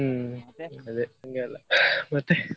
ಹ್ಮ್‌ ಅದೇ ಹಂಗೆ ಎಲ್ಲ. ಮತ್ತೇ?